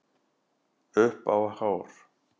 Upp á hár.